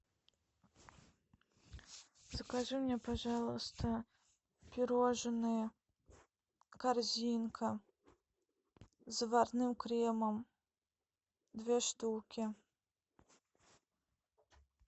закажи мне пожалуйста пирожные корзинка с заварным кремом две штуки